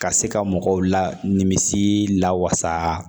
Ka se ka mɔgɔw la nimisi lawasa